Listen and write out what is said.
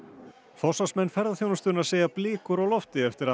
forsvarsmenn ferðaþjónustunnar segja blikur á lofti eftir að